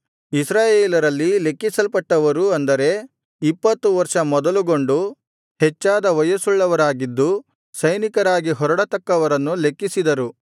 ಇಸ್ರಾಯೇಲರಲ್ಲಿ ಲೆಕ್ಕಿಸಲ್ಪಟ್ಟವರು ಅಂದರೆ ಇಪ್ಪತ್ತು ವರ್ಷ ಮೊದಲುಗೊಂಡು ಹೆಚ್ಚಾದ ವಯಸ್ಸುಳ್ಳವರಾಗಿದ್ದು ಸೈನಿಕರಾಗಿ ಹೊರಡತಕ್ಕವರನ್ನು ಲೆಕ್ಕಿಸಿದರು